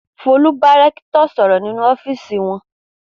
Folú bá rẹ́kítọ̀ sọ̀rọ̀ nínú ọ́fíísì wọn.